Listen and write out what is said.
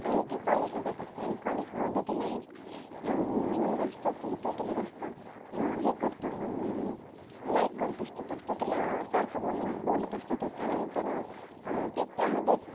आणि ती College ला जात असते आणि College मध्ये तिला एक अं मुलगा असतो की तो तिला जास्त अह हे करतो. अं Like करत असतो. तो तिला सारखं बोलत असतं तर त्यानंतर मग अह ते त्या मध्ये